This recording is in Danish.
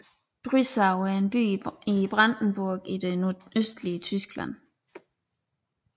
Brüssow er en by i Brandenburg i det nordøstlige Tyskland